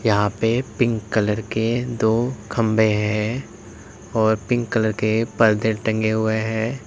यहां पे pink colour के दो खंबें हैं और पिंक कलर के पर्दे टंगे हुए हैं।